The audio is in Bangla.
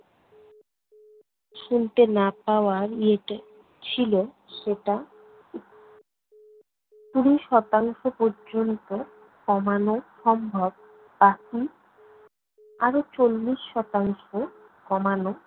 শুনতে না পাওয়ার ইয়েটা ছিল সেটা কুড়ি শতাংশ পর্যন্ত কমানো সম্ভব বাকি আরো চল্লিশ শতাংশ কমানো